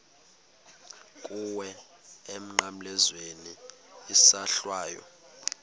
kuwe emnqamlezweni isohlwayo